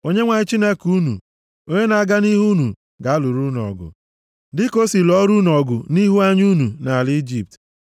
Onyenwe anyị Chineke unu, onye na-aga nʼihu unu, ga-alụrụ unu ọgụ, + 1:30 \+xt Ọpụ 14:14; Dit 3:22; 20:4; Neh 4:20\+xt* dịka o si lụọra unu ọgụ nʼihu anya unu, nʼala Ijipt,